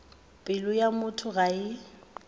pelo ya motho ga e